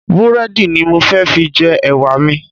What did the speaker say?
Búrẹ́dì ni mo fẹ́ fi jẹ Ẹ̀wà mi.